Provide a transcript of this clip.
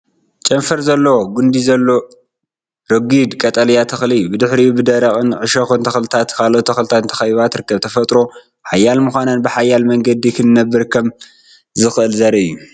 ጨንፈር ዘለዎ ጕንዲ ዘለዎ ረጒድ ቀጠልያ ተኽሊ እዩ። ብድሕሪት ብደረቕን እሾኽን ተኽልታትን ካልኦት ተኽልታትን ተኸቢባ ትርከብ። ተፈጥሮ ሓያል ምዃኑን ብሓያል መንገዲ ክነብር ከም ዝኽእልን ዘርኢ እዩ።